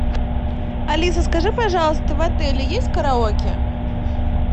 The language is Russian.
алиса скажи пожалуйста в отеле есть караоке